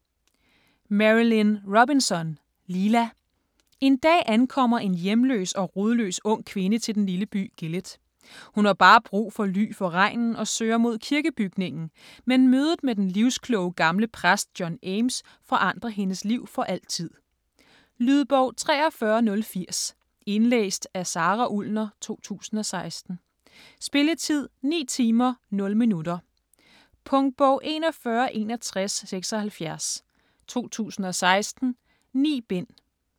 Robinson, Marilynne: Lila En dag ankommer en hjemløs og rodløs ung kvinde til den lille by Gilead. Hun har bare brug for ly for regnen og søger mod kirkebygningen, men mødet med den livskloge gamle præst John Ames forandrer hendes liv for altid. Lydbog 43080 Indlæst af Sara Ullner, 2016. Spilletid: 9 timer, 0 minutter. Punktbog 416176 2016. 9 bind.